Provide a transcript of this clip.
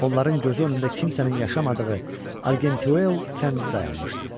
Onların gözü önündə kimsənin yaşamadığı Argenteuil kəndi dayanmışdı.